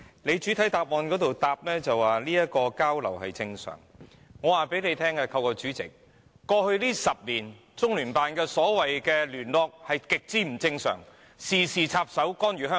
他在主體答覆表示交流是正常，但我現在透過主席告訴局長，在過去10年，中聯辦的所謂"聯絡"是極不正常的，事事插手，干預香港。